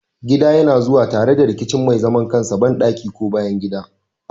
Gida yana zuwa tare da kicin mai zaman kansa, bandaki, ko bayan gida.